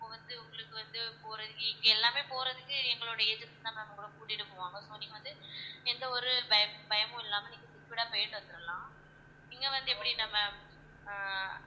இப்ப வந்து உங்களுக்கு வந்து போறதுக்கு இங்க எல்லாமே போறதுக்கு எங்களுடைய agency தான் ma'am உங்கள கூட்டிட்டு போவாங்க so நீங்க வந்து எந்த ஒரு பயம்~ பயமும் இல்லாம நீங்க secured ஆ போயிட்டு வந்திடலாம் இங்க வந்து எப்படினா ma'am ஆஹ்